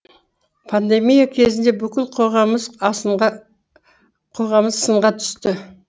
пандемия кезінде бүкіл қоғамымыз сынға түсті